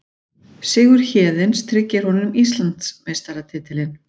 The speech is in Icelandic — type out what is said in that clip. Sigur Héðins tryggir honum Íslandsmeistaratitilinn